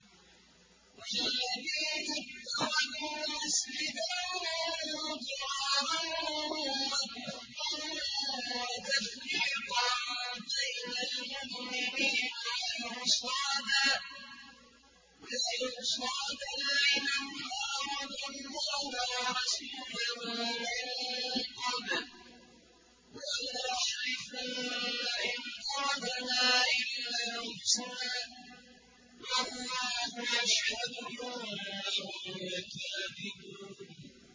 وَالَّذِينَ اتَّخَذُوا مَسْجِدًا ضِرَارًا وَكُفْرًا وَتَفْرِيقًا بَيْنَ الْمُؤْمِنِينَ وَإِرْصَادًا لِّمَنْ حَارَبَ اللَّهَ وَرَسُولَهُ مِن قَبْلُ ۚ وَلَيَحْلِفُنَّ إِنْ أَرَدْنَا إِلَّا الْحُسْنَىٰ ۖ وَاللَّهُ يَشْهَدُ إِنَّهُمْ لَكَاذِبُونَ